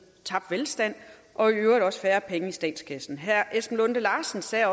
tabt velstand og i øvrigt også færre penge i statskassen herre esben lunde larsen sagde